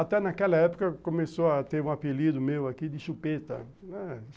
Até naquela época começou a ter um apelido meu aqui de Chupeta, né.